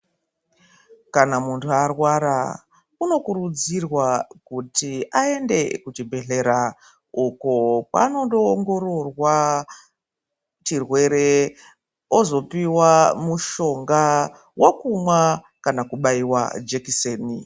Kana muntu arwara unokurudzirwa kuti aende kuchibhedlera uko kwaanondo ongororwa chirwere ozopiwa mushonga wekumwa kana kubaiwa jekiseni.